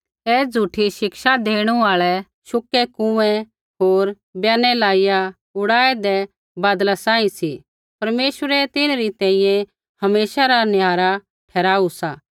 ऐ झ़ूठी शिक्षा देणु आल़ै शुकै कुँऐ होर ब्यानै लाइया उड़ाऐदै बादला सांही सी परमेश्वरै तिन्हरी तैंईंयैं हमेशा रा निहारा ठहराऊ सा